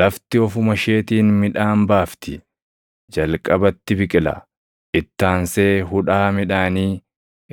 Lafti ofuma isheetiin midhaan baafti; jalqabatti biqila, itti aansee hudhaa midhaanii,